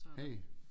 Hey